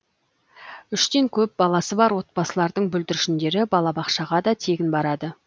үштен көп баласы бар отбасылардың бүлдіршіндері балабақшаға да тегін барады